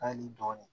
Hali dɔɔnin